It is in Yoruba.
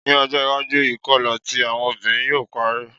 Ni ojo iwaju, ikọla ti awọn obinrin yoo parẹ